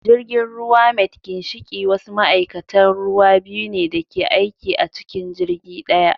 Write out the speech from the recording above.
Jirgin ruwa mate ginshiki wasu ma'aikatan ruwa biyu ne da ke aiki a cikin jirgi daya